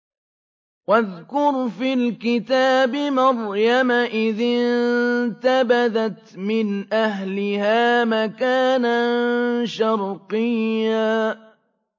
وَاذْكُرْ فِي الْكِتَابِ مَرْيَمَ إِذِ انتَبَذَتْ مِنْ أَهْلِهَا مَكَانًا شَرْقِيًّا